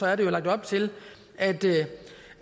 at der er lagt op til at